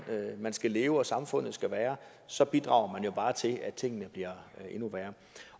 man skal leve og samfundet skal være så bidrager man jo bare til at tingene bliver endnu værre